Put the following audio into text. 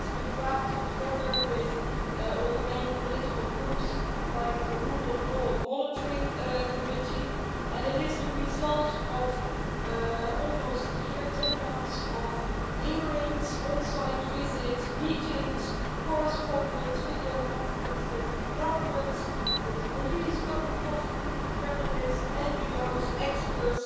It has been drafted together with all the main political groups by the rule of law monitoring committee, and it is the result of almost a year, 10 months, of hearings, on site visits, meetings, correspondence, video conferences with governments, with the police, public prosecutors, journalists, NGOs, experts,